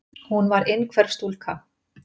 Hún var innhverf stúlka.